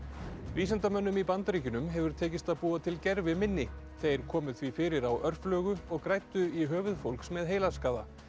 vísindamönnum í Bandaríkjunum hefur tekist að búa til gerviminni þeir komu því fyrir á og græddu í höfuð fólks með heilaskaða